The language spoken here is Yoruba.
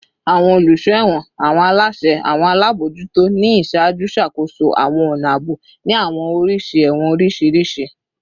Awọn oluso ẹwọn / awọn alaṣẹ / awọn alabojuto ni iṣaaju ṣakoso awọn ọna aabo ni awọn oriṣi ẹwọn oriṣiriṣi